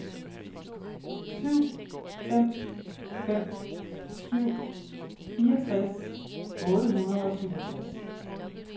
syv fem fem syv fireogtres otte hundrede og syvogtres